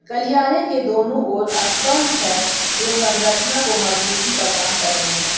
गलियारे के दोनों ओर स्तंभ है जो संरचना को मजबूती प्रदान कर रहे हैं।